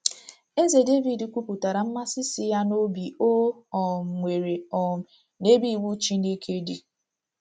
Eze Devid kwupụtara mmasị si ya n’obi o um nwere um n’ebe iwu Chineke dị